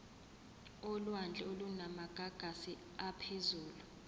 olwandle olunamagagasi aphezulu